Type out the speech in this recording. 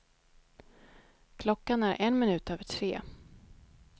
Klockan är en minut över tre.